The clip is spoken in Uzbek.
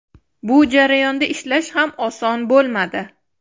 Bu jarayonda ishlash ham oson bo‘lmadi.